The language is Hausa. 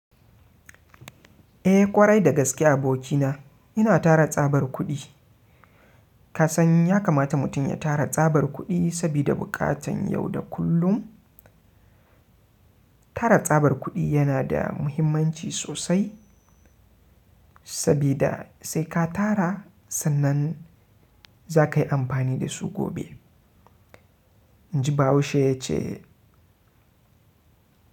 Eh ƙwarai da gaske abokina ina tara tsabar kudi. Ka san ya kamata mutum ya tara tsabar kuɗi sabida buƙatan yau da kullum. Tara tsabar kuɗi yana da muhimmanci sosai sabida sai ka tara sannan za ka yi amfani da su gobe. Inji ba haushe yace.